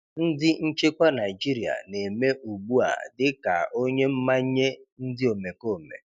Ndị nchekwa Naịjirịa na-eme ugbu a dị ka onye mmanye ndị omekome.